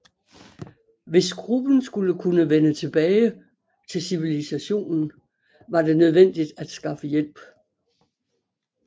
Hvis gruppen skulle kunne vende tilbage til civilisationen var det nødvendigt at skaffe hjælp